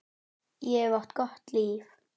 Ég hef átt gott líf.